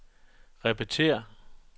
repetér